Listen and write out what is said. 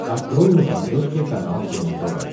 открой на смотрешке канал кино тв